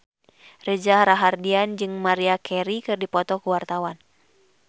Reza Rahardian jeung Maria Carey keur dipoto ku wartawan